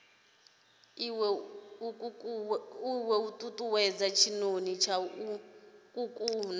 iwe nkukuwe tshinoni tsha nkuku